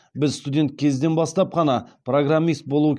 біз студент кезден бастап қана программист болу